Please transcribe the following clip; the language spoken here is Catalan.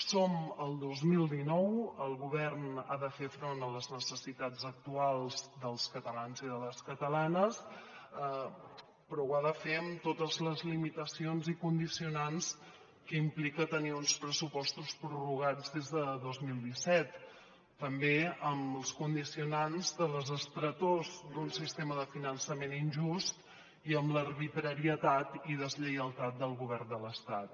som al dos mil dinou el govern ha de fer front a les necessitats actuals dels catalans i les catalanes però ho ha de fer amb totes les limitacions i condicionants que implica tenir uns pressupostos prorrogats des de dos mil disset també amb els condicionants de les estretors d’un sistema de finançament injust i amb l’arbitrarietat i deslleialtat del govern de l’estat